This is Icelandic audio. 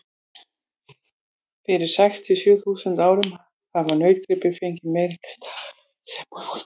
Fyrir sex til sjö þúsund árum hafa nautgripir fengið merkileg hlutverk sem húsdýr.